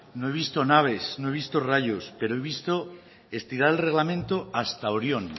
no he visto naves no he visto rayos pero he visto estirar el reglamento hasta orión